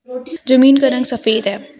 जमीन का रंग सफेद है।